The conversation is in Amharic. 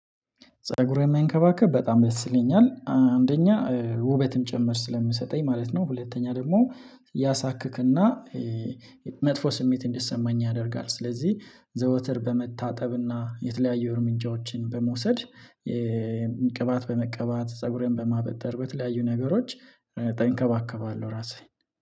ፀጉሬን መንከባከብ በጣም ደስ ይለኛል አንደኛ ውበትም ጭምር ስለምንሰጠኝ ማለት ነው። ሁለተኛ ደግሞ ያሳክክእና መጥፎ ስሜት እንዲሰማኝ ያደርጋል። ስለዚህ ዘወትር በመታጠብ እና የተለያዩ እርምጃዎችን በመውሰድ ቅባት በመቀባት ፀጉሬን በማበጠር በተለያዩ ነገሮች እጠንከባከባለሁ። እራሴ